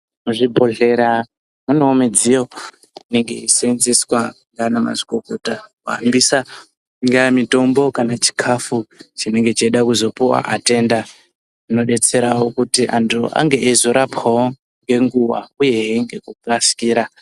Muzvibhedhlera munewo midziyo inenge yeiseenzeswa ngaana mazvikokota, kuhambisa ingava mitombo kana chikhafu chinenge cheida kuzopuva atenda. Zvinodetsera kuti antu ange eizorapwawo ngenguva uyehe ngekukasikira.